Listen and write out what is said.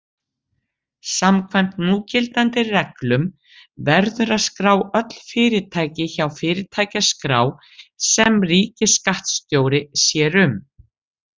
Samkvæmt núgildandi reglum verður að skrá öll fyrirtæki hjá fyrirtækjaskrá sem ríkisskattstjóri sér um.